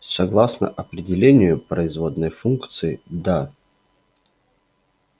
согласно определению производной функции да